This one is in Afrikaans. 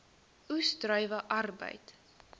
oes druiwe arbeid